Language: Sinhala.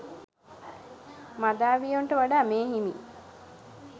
මදාවියොන්ට වඩා මේ හිමි